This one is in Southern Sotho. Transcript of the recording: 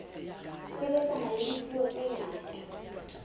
sebetsana le dipuo tse ngata